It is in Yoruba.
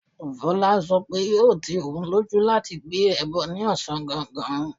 Fola sọ pé yóò ti òun lójú láti gbé ẹbọ ní ọ̀sán gangan.